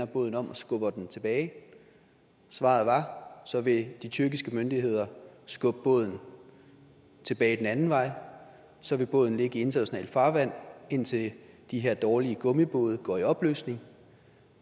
båden om og skubbede den tilbage at svaret var så vil de tyrkiske myndigheder skubbe båden tilbage den anden vej så vil båden ligge i internationalt farvand indtil de her dårlige gummibåde går i opløsning